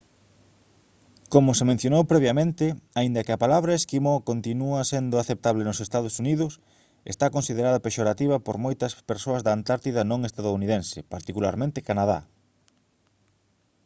como se mencionou previamente aínda que a palabra «esquimó» continúa sendo aceptable nos ee. uu. está considerada pexorativa por moitas persoas da antártida non estadounidense particularmente canadá